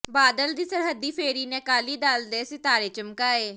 ਬਾਦਲ ਦੀ ਸਰਹੱਦੀ ਫੇਰੀ ਨੇ ਅਕਾਲੀ ਦਲ ਦੇ ਸਿਤਾਰੇ ਚਮਕਾਏ